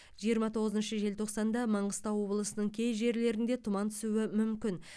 жиырма тоғызыншы желтоқсанда маңғыстау облысының кей жерлерінде тұман түсуі мүмкін